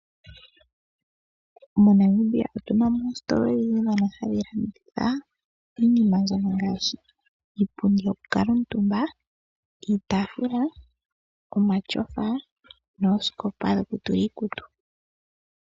MoNamibia otunamo oostola odhidji ndhono hadhi landitha iinima mbyono ngaashi iipundi yokukala omutumba, omatyofa noosikopa dhokutula iikutu.